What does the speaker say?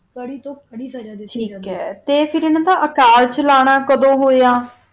ਬਾਰੀ ਦੁਖ ਦਰਦ ਦੀ ਆ ਤਾ ਫਿਰ ਅਨਾ ਦਾ ਕਾਰ ਚਲਾਨਾ ਕਦੋ ਹੋਆ